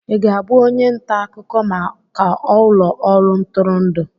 Ị ga-abụ onye nta akụkọ maka ụlọ ọrụ ntụrụndụ?